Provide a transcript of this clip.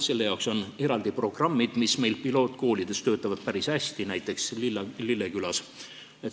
Selle jaoks on eraldi programmid, mis meil pilootkoolides töötavad päris hästi, näiteks Lillekülas.